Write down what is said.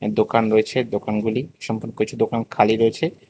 দোকান রয়েছে দোকানগুলি কিছু দোকান খালি রয়েছে।